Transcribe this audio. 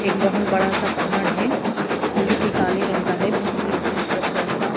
ایک بہت بڑا سا پہاڑ ہے جو کہ کالے رنگ کا ہے بیج بیچ میں تھوڑا سا--